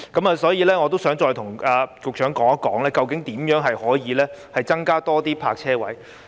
我想再與局長商談究竟如何可以增加更多泊車位。